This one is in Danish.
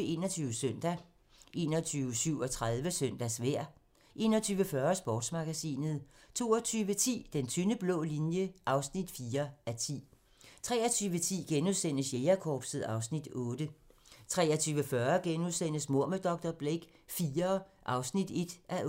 21 Søndag 21:37: Søndagsvejr 21:40: Sportsmagasinet 22:10: Den tynde blå linje (4:10) 23:10: Jægerkorpset (Afs. 8)* 23:40: Mord med dr. Blake IV (1:8)*